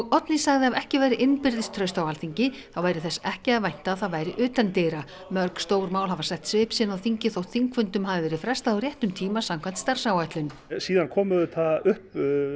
Oddný sagði að ef ekki væri innbyrðis traust á Alþingi þá væri þess ekki að vænta að það væri utandyra mörg stór mál hafa sett svip sinn á þingið þótt þingfundum hafi verið frestað á réttum tíma samkvæmt starfsáætlun síðan koma auðvitað upp